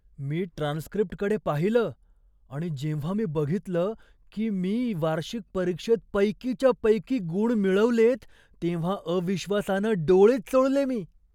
मी ट्रान्सक्रिप्टकडे पाहिलं आणि जेव्हा मी बघितलं की मी वार्षिक परीक्षेत पैकीच्या पैकी गुण मिळवलेत, तेव्हा अविश्वासानं डोळेच चोळले मी.